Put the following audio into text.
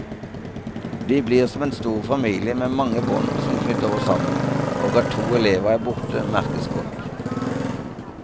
Vi blir som en stor familie med mange bånd som knytter oss sammen, og at to elever er borte, merkes godt.